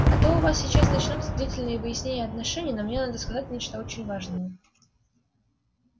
а то у вас сейчас начнутся длительные выяснения отношений но мне надо сказать нечто очень важное